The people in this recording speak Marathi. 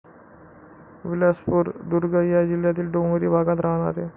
बिलासपूर, दुर्ग या जिल्यातील डोंगरी भागात राहाणारे.